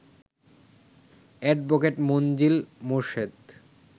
advocate Manzill Morshed